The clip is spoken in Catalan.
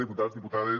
diputats diputades